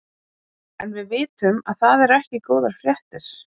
En við vitum að það eru ekki góðar fréttir?